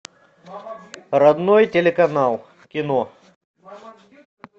родной телеканал кино